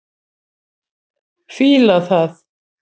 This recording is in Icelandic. Fíla það.